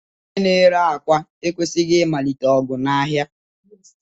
Onye na-ere akwa ekwesịghị ịmalite ọgụ n'ahịa.